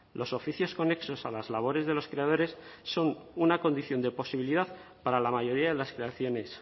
los oficios conexos a las labores de los creadores son una condición de posibilidad para la mayoría de las creaciones